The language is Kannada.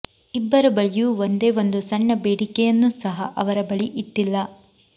ಇಬ್ಬರ ಬಳಿಯೂ ಒಂದೇ ಒಂದು ಸಣ್ಣ ಬೇಡಿಕೆಯನ್ನೂ ಸಹ ಅವರ ಬಳಿ ಇಟ್ಟಿಲ್ಲ